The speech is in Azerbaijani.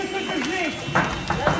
Mən normal oturmuşam.